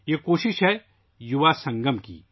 یہ کوشش ہے ، یووا سنگم کی